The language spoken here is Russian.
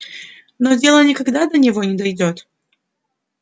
но дело никогда до него не дойдёт